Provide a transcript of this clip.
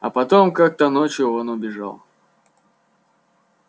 а потом как-то ночью он убежал